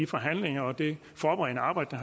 forhandlingerne og det forberedende arbejde